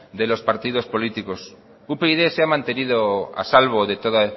de los partidos políticos upyd se ha mantenido a salvo de ese todo